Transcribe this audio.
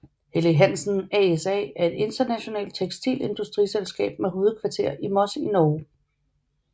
Helly Hansen ASA er et internationalt tekstilindustriselskab med hovedkontor i Moss i Norge